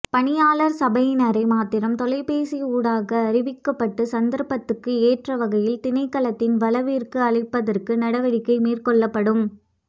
பணியாளர் சபையினரை மாத்திரம் தொலைபேசி ஊடாக அறிவிக்கப்பட்டு சந்தர்ப்பத்துக்கு ஏற்ற வகையில் திணைக்களத்தின் வளவிற்கு அழைப்பதற்கு நடவடிக்கை மேற்கொள்ளப்படும்